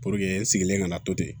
Puruke n sigilen ka na to ten